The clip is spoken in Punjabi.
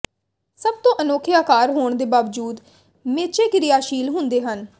ਸਭ ਤੋਂ ਅਨੋਖੇ ਆਕਾਰ ਹੋਣ ਦੇ ਬਾਵਜੂਦ ਮੇਚੇ ਕਿਰਿਆਸ਼ੀਲ ਹੁੰਦੇ ਹਨ